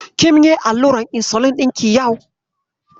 Kim yi allurar insulin ɗinki yau?